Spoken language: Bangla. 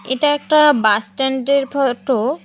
এটা একটা বাস স্ট্যান্ডের ফটো ।